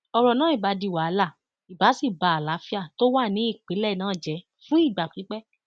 ọrọ náà ibà di wàhálà ibà sì ba àlàáfíà tó wà ní ìpínlẹ náà jẹ fún ìgbà pípẹ